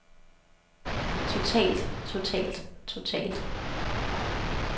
totalt totalt totalt